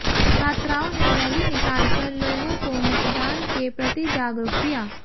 छात्राओं ने रैली निकालकर लोगों को मतदान के प्रति जागरूक किया